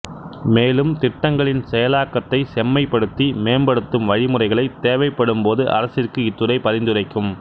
மேலும் திட்டங்களின் செயலாக்கத்தைச் செம்மைப்படுத்தி மேம்படுத்தும் வழிமுறைகளை தேவைப்படும்போது அரசிற்கு இத்துறை பரிந்துரைக்கும்